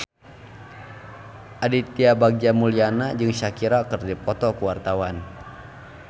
Aditya Bagja Mulyana jeung Shakira keur dipoto ku wartawan